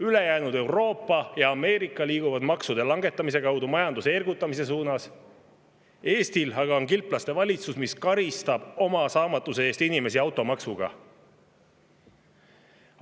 Ülejäänud Euroopa ja Ameerika liiguvad maksude langetamise kaudu majanduse ergutamise suunas, Eestil aga on kilplaste valitsus, mis karistab oma saamatuse eest inimesi automaksuga.